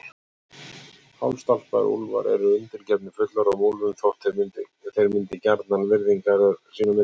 Hálfstálpaðir úlfar eru undirgefnir fullorðnum úlfum þótt þeir myndi gjarnan virðingarröð sín á milli.